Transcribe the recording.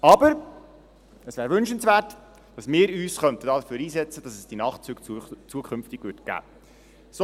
Aber es wäre wünschenswert, dass wir uns dafür einsetzen, damit es die Nachtzüge zukünftig gibt.